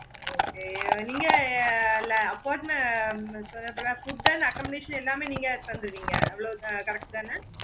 okay நீங்க food and accomodation எல்லாமே நீங்க தந்துருவிங்க correct தான